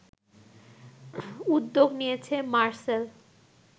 উদ্যোগ নিয়েছে মারসেল